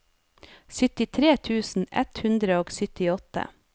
syttitre tusen ett hundre og syttiåtte